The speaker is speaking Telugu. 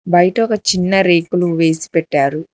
బయట ఒక చిన్న రేకులు వేసి పెట్టారు.